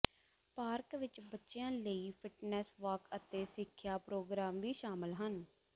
park ਵਿੱਚ ਬੱਚਿਆਂ ਲਈ ਫਿੱਟਨੈੱਸ ਵਾਕ ਅਤੇ ਸਿੱਖਿਆ ਪ੍ਰੋਗਰਾਮ ਵੀ ਸ਼ਾਮਲ ਹਨ